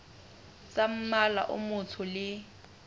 tsa mmala o motsho le